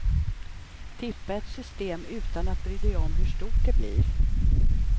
Tippa ett system utan att bry dig om hur stort det blir.